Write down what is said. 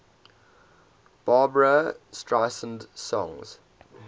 barbra streisand songs